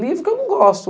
livro que eu não gosto.